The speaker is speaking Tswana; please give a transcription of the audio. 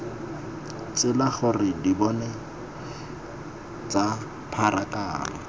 tsela gore dipone tsa pharakano